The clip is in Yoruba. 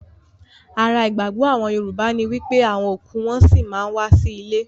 Ara ìgbàgbọ́ àwọn Yorùbá ní wípé àwọn òkú wọn-ọn sí ma ń wá sí ilé